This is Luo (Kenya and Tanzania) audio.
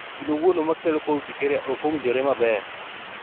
Gino wuono makelo cold urticaria ok owinjore maber